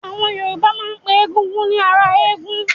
Àwọn Yorùbá máa ń pe Egúngún ni "ará ọ̀run"